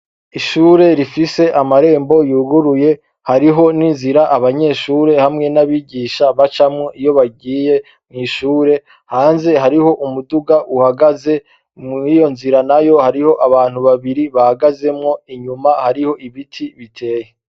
Ishure rifise amarembo yuguruye hariho ninzira abanyeshure hamwe nabigisha bacamwo iyo bagiye mwishure hanze hariho umuduga uhagaze muriyo nzira nayo hariho abantu babiri bahagazemwo inyuma hariho ibiti biteye.